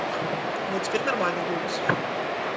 вот теперь нормальный голос